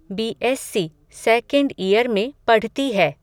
B S C second year में पढती है